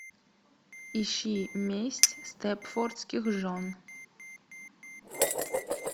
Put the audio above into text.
ищи месть степфордских жен